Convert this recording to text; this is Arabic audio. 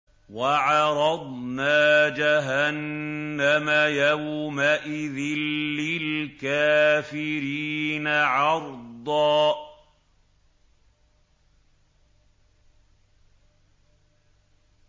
وَعَرَضْنَا جَهَنَّمَ يَوْمَئِذٍ لِّلْكَافِرِينَ عَرْضًا